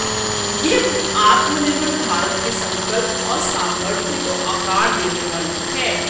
ये आत्मनिर्भर भारत के संकल्प और सामर्थ्य को आकार देने वाली है